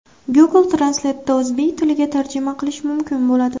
Google Translate’da o‘zbek tiliga tarjima qilish mumkin bo‘ladi.